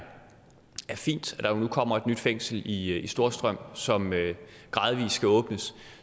fint at der nu kommer et nyt fængsel i storstrøm som gradvis skal åbnes